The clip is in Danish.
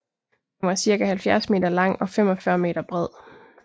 Den var cirka 70 meter lang og 45 meter bred